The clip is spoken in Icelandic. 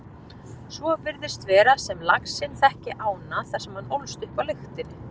Svo virðist vera sem laxinn þekki ána þar sem hann ólst upp á lyktinni.